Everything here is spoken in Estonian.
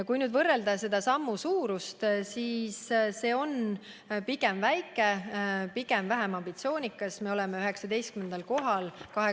Kui võrrelda selle sammu suurust, siis see on pigem väike, pigem vähe ambitsioonikas, me oleme 27 riigi seas 19. kohal.